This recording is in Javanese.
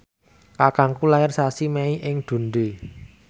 kakangku lair sasi Mei ing Dundee